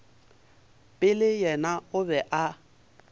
pele yena o be a